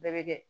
Bɛɛ bɛ kɛ